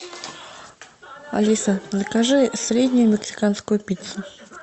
алиса закажи среднюю мексиканскую пиццу